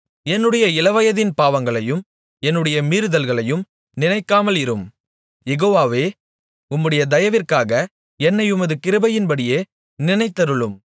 என்னுடைய இளவயதின் பாவங்களையும் என்னுடைய மீறுதல்களையும் நினைக்காமலிரும் யெகோவாவே உம்முடைய தயவிற்காக என்னை உமது கிருபையின்படியே நினைத்தருளும்